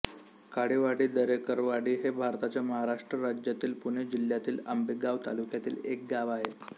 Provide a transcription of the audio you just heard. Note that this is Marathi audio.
काळेवाडी दरेकरवाडी हे भारताच्या महाराष्ट्र राज्यातील पुणे जिल्ह्यातील आंबेगाव तालुक्यातील एक गाव आहे